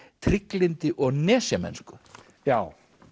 trygglyndi og nesjamennsku já